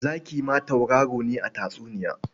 Zaki ma tauraro ne a tatsuniya.